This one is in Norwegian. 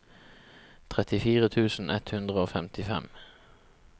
trettifire tusen ett hundre og femtifem